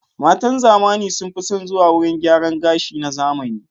Matan zamani sun fi son zuwa wurin gyaran gashi na zamani.